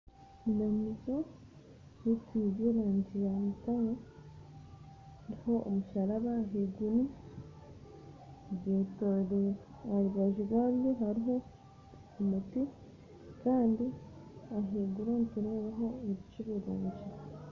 Obumanyiso busingire erangi yamutaare hariho omusharaba ahaiguru aharubaju rwago hariho omuti kandi ahaiguru nitureebaho ebicu birungi